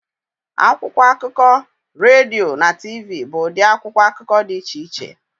Akwụkwọ akụkọ, redio na TV bụ ụdị akwụkwọ akụkọ dị iche iche